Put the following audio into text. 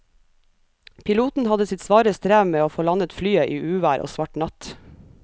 Piloten hadde sitt svare strev med å få landet flyet i uvær og svart natt.